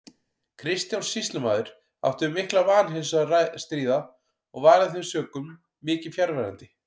Kristján sýslumaður átti við mikla vanheilsu að stríða og var af þeim sökum mikið fjarverandi.